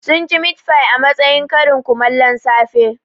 Sun ci mitfai a matsayin karin kumallon safe